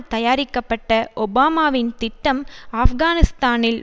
தயாரிக்கப்பட்ட ஒபாமாவின் திட்டம் ஆப்கானிஸ்தானில்